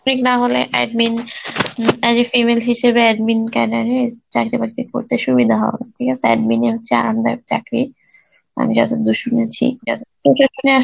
না হলে admin um female হিসাবে admin cadet এ চাকরি বাকরি করতে সুবিধা হবে, ঠিক আসে? admin ই হচ্ছে আরামদায়ক চাকরি আমি যতদূর শুনেছি আসলে